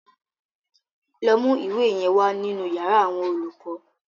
Lọ mú ìwé yẹn wa nínú yàrá àwọn olùkọ́.